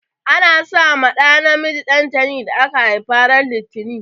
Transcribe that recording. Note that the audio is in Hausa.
Ana sa ma ɗa namiji dantani da aka haifa ran litani.